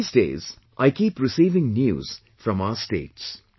These days , I keep receiving news from our states